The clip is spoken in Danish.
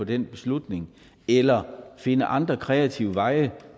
den beslutning eller finde andre kreative veje